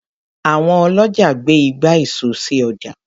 Àwọn ọlọ́jà gbé ìgbà èso sì ọjà.